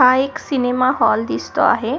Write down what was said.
हा एक सिनेमा दिसतो आहे.